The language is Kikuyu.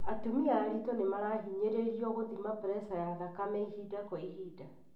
Atumia aritũ nĩmarahinyĩrĩrio gũthima pressure ya thakame ihinda kwa ihinda.